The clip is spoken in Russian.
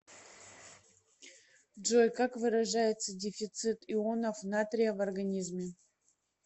джой как выражается дефицит ионов натрия в организме